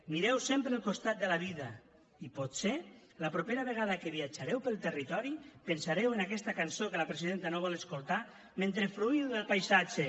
mireu sempre el costat brillant de la vida i potser la propera vegada que viatjareu pel territori pensareu en aquesta cançó que la presidenta no vol escoltar mentre fruïu del paisatge